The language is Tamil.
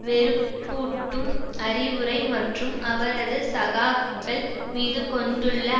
வெறுப்பூட்டும் அறிவுரை மற்றும் அவரது சகாக்கள் மீது கொண்டுள்ள